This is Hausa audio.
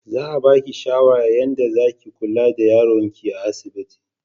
Za a baki shawara yanda zaki kulla da yaron ki a asibiti